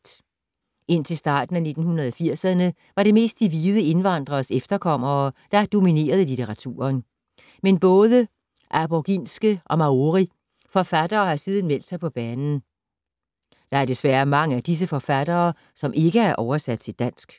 Indtil starten af 1980’erne var det mest de hvide indvandreres efterkommere, der dominerede litteraturen. Men både aboriginske og maori forfattere har siden meldt sig på banen. Der er desværre mange af disse forfattere, som ikke er oversat til dansk.